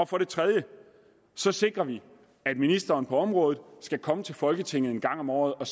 for det tredje sikrer vi at ministeren på området skal komme til folketinget en gang om året og